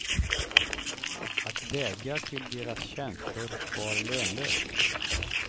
Att vädja till deras känslor var lönlöst.